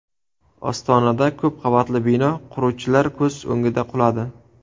Ostonada ko‘p qavatli bino quruvchilar ko‘z o‘ngida quladi.